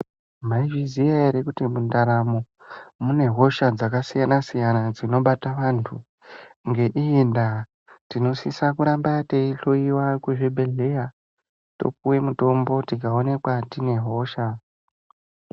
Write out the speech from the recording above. Maizviziya ere kuti mundaramo mune hosha dzakasiyanasiyana dzinobata vantu ngeiyi nda tinosisa kuramba teiyihloyiwa kuzvibhehleya topiwe mutombo tikaoneka tine hosha.